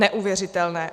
Neuvěřitelné.